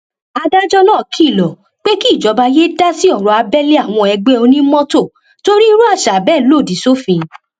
adájọ náà kìlọ pé kíjọba yéé dá sí ọrọ abẹlé àwọn ẹgbẹ onímọtò torí irú àṣà bẹẹ lòdì sófin